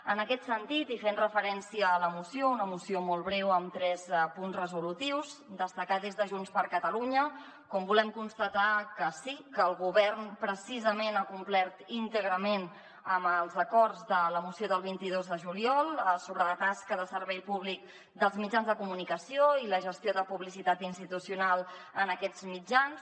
en aquest sentit i fent referència a la moció una moció molt breu amb tres punts resolutius destacar des de junts per catalunya com ho volem constatar que sí que el govern precisament ha complert íntegrament amb els acords de la moció del vint dos de juliol sobre la tasca de servei públic dels mitjans de comunicació i la gestió de publi·citat institucional en aquests mitjans